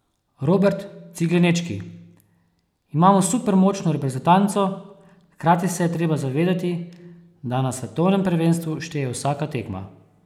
Robert Ciglenečki: "Imamo super močno reprezentanco, hkrati se je treba zavedati, da na svetovnem prvenstvu šteje vsaka tekma.